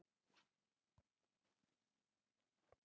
Tvær helstu gerðir píanós eru upprétt píanó og flygill.